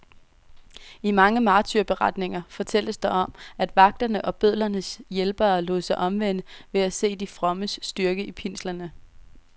I mange martyrberetninger fortælles der om, at vagterne og bødlernes hjælpere lod sig omvende ved at se de frommes styrke i pinslerne.